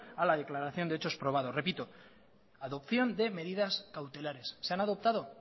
a la declaración de hechos probados repito adopción de medidas cautelares se han adoptado